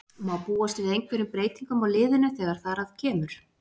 Má búast við einhverjum breytingum á liðinu þegar þar að kemur?